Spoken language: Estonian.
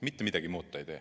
Mitte midagi muud ta ei tee.